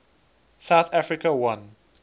south africa won